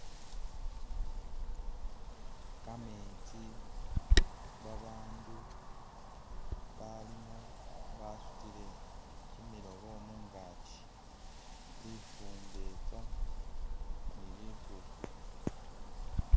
Kametsi babandu abalimo basutile kimilobo mungaki, lifumbetsa ni likulu.